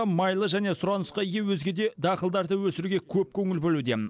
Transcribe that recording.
майлы және сұранысқа ие өзге де дақылдарды өсіруге көп көңіл бөлуде